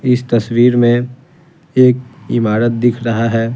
इस तस्वीर में एक इमारत दिख रहा है।